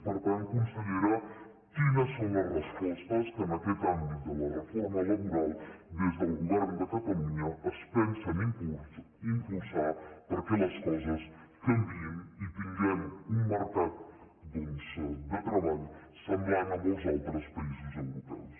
per tant consellera quines són les respostes que en aquest àmbit de la reforma laboral des del govern de catalunya es pensen impulsar perquè les coses canviïn i tinguem un mercat de treball semblant a molts altres països europeus